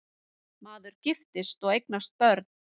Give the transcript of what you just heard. Maður giftist og eignaðist börn.